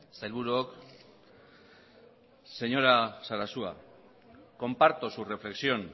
sailburuok señora sarasua comparto su reflexión